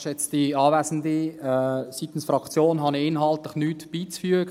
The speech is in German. Seitens der Fraktion habe ich inhaltlich nichts beizufügen.